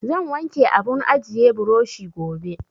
Zan wanke abun ajiye burushi gobe.